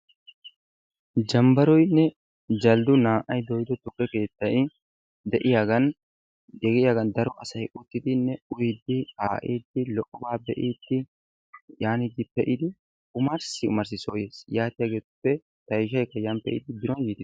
Jambaroynne janggu naa'ay dooyido tukke keettay de'iyagan de'iyagan daro asay uttidi uyiidi kaa'iidi wotaa be'iidi yaanidi pee'idi omarssi mati soo yees, yaatiyageetuppe tayshaykka yan pee'idi biron soo yiis.